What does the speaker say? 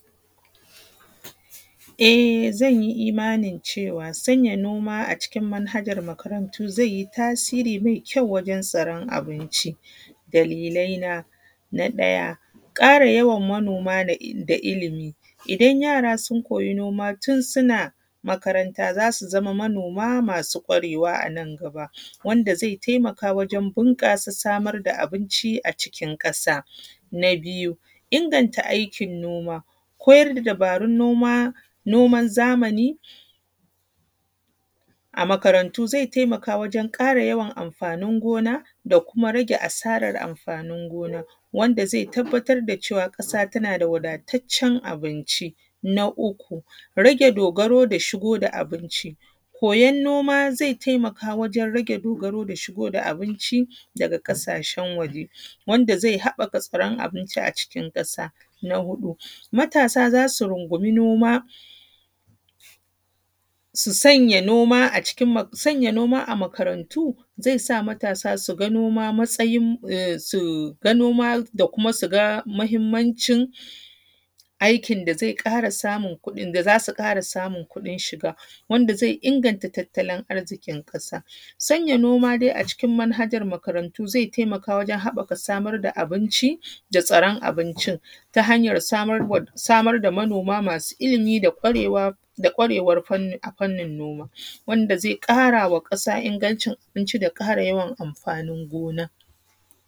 E zan yi imanin cewa, sanya noma a cikin manhajan makarantu zai yi tasiri mai kyau wajen tsaron abinci. Dalilaina na ɗaya, ƙara yawan manoma da illimi, idan yara sun koya noma tun suna makaranta za su zamo manoma masu ƙarewa a nan gaba. Wanda zai taimaka wajen bunƙas samar da abinci a cikin ƙasa. Na biyu inganta aikin noma, koyar da dabarun noman zamani a makarantu zai taimaka wajen yawan amfanin gona da kuma rage asarar amfanin gona. Wanda zai tabbatar da cewa ƙasa tana da ingantaccen abinci. Na uku rage dogaro da shigo da abinci, koyon noma zai taika wajen dogaro da shigo da abinci daga ƙassashen waje, wanda zai haɓaka tsaron abinci a cikin ƙasa. Na huɗu matasa za su rungumi noma, su sanya noma, sanya noma a makarantu, zai sa matasa su ga noma matsayin, em su ga noma da kuma su ga muhimmanci aikin da zai ƙara samun da za su ƙara samun kuɗin shiga. Wanda zai inganta tattalin arziƙin ƙasa. Sanya dai noma a cikin manhajan makaratu zai haɓaka wurin samar da abinci da tsaran abincin, ta hanyar samarwa samar da manoma masu ilimi da ƙwarewa a fannin noma, wanda zai ƙarawa ƙasa ingancin abinci da ƙara yawan amfanin gona.